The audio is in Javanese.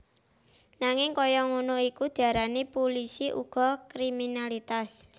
Nanging kaya ngono iku diarani pulisi uga kriminalitas